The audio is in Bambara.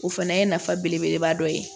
O fana ye nafa belebeleba dɔ ye